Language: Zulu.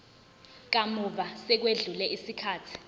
kamuva sekwedlule isikhathi